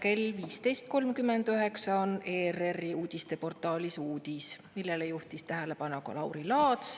Täna kell 15.39 ERR‑i uudisteportaalis uudis, millele juhtis tähelepanu ka Lauri Laats.